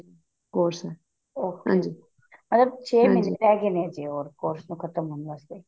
course ਹੈ ਉਹ ਹਾਂਜੀ ਮਤਲਬ ਮਹੀਨੇ ਰਹੀ ਗੇ ਨੇ course ਨੂੰ ਖਤਮ ਹੋਣ ਵਾਸਤੇ